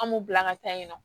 An m'u bila an ka taa yen nɔ